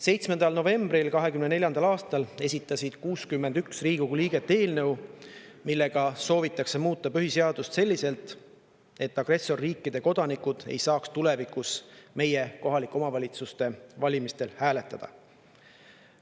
7. novembril 2024. aastal esitasid 61 Riigikogu liiget eelnõu, millega soovitakse muuta põhiseadust selliselt, et agressorriikide kodanikud ei saaks tulevikus meie kohaliku omavalitsuse valimistel hääletada.